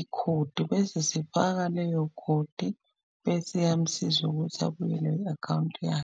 ikhodi bese sifaka leyo khodi, bese iyamsiza ukuthi abuyelwe i-akhawunti yakhe.